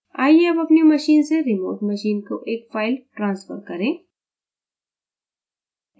आइए अब अपनी machine से remote machine को एक फ़ाइल transfer करें